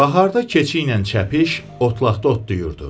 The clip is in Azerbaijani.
Baharda keçi ilə çəpiş otlaqda otlayırdı.